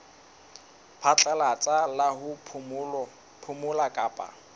phatlalatsa la ho phomola kapa